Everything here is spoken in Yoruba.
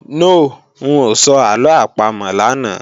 No, ń ò sọ àlọ àpamọ̀ lánàá